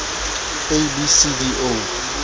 a b c d o